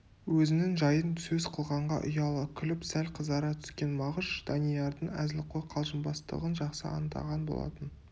өзінің жайын сөз қылғанға ұяла күліп сәл қызара түскен мағыш даниярдың әзілқой қалжыңбастығын жақсы аңдаған болатын